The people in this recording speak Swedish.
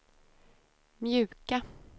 mjuka